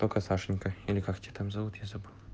только сашенька или как тебя там зовут я забыл